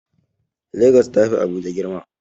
Legas ta fi Abuja girma.